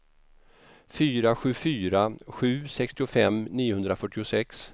fyra sju fyra sju sextiofem niohundrafyrtiosex